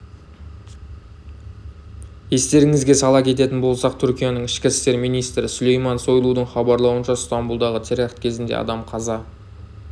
естеріңізге сала кететін болсақ түркияның ішкі істер министрі сүлейман сойлудың хабарлауынша стамбұлдағы теракт кезінде адам қаза